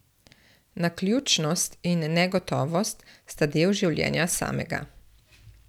Naključnost in negotovost sta del življenja samega.